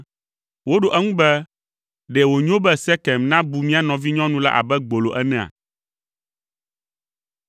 Woɖo eŋu be, “Ɖe wònyo be Sekem nabu mía nɔvinyɔnu la abe gbolo enea?”